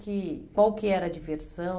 Que qual que era a diversão?